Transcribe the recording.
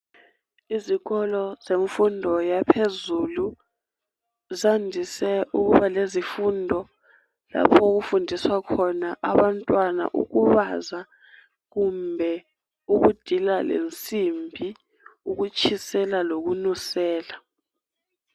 Izikolo zemfundo yaphezulu zandise ukuba lezifundo lapho okufundiswa khona abantwana ukubaza kumbe ukudila lensimbi ukutshisela lokununsela